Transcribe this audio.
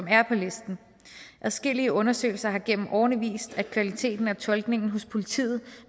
er på listen adskillige undersøgelser har gennem årene vist at kvaliteten af tolkningen hos politiet